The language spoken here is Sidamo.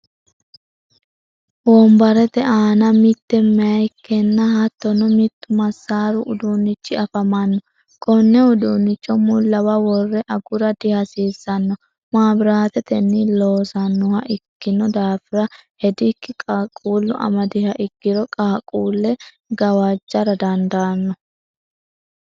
wonbarete aanna mitte mayikenna hattono mittu masaru uduunichi afamanno konne uduunicho mulawa worre agura dihasiisanno mabiratetenni loosanoha ikinno daafira hediki qaquulu amadiha ikiro qaquule gaqajara dandaano.